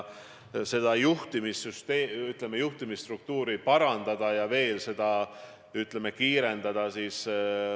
Juhtimisstruktuuri saab parandada ja otsustusprotsessi kiirendada.